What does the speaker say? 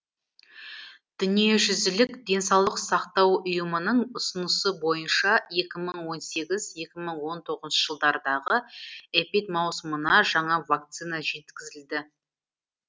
дүниежүзілік денсаулық сақтау ұйымының ұсынысы бойынша екі мың он сегіз екі мың он тоғызыншы жылдардағы эпидмаусымына жаңа вакцина жеткізілді